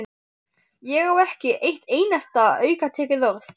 Ég á ekki eitt einasta aukatekið orð!